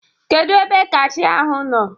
Kedu ebe kashia ahụ nọ?